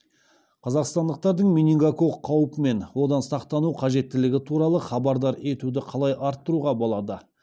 қазақстандықтардың менингококк қаупі мен одан сақтану қажеттігі туралы хабардар етуді қалай арттыруға болады